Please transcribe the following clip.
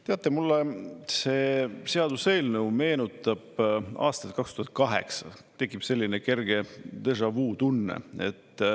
Teate, mulle see seaduseelnõu meenutab aastat 2008, tekib selline kerge déjà vu tunne.